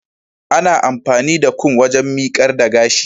ana amfani da Kum waken mikar da gash